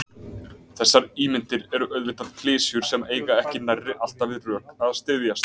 Þessar ímyndir eru auðvitað klisjur sem eiga ekki nærri alltaf við rök að styðjast.